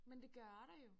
Men det gør der jo